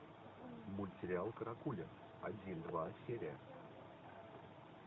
мультсериал каракуля один два серия